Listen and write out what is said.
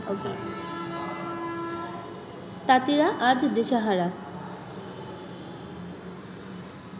তাঁতিরা আজ দিশাহারা